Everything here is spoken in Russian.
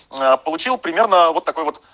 получил примерно вот такой вот